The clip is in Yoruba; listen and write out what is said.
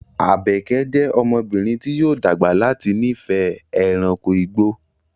Àbèké jẹ́ ọmọbìnrin tí yóò dàgbà láti nífẹ̀ẹ́ ẹranko igbó